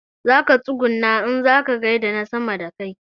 Zaka tsuguna in kaza gaida na sama da kai